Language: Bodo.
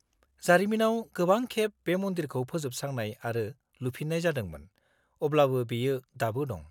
-जारिमिनाव गोबां खेब बे मन्दिरखौ फोजोबस्रांनाय आरो लुफिननाय जादोंमोन, अब्लाबो बेयो दाबो दं।